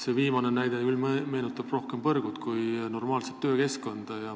See viimane näide meenutab küll rohkem põrgut kui normaalset töökeskkonda.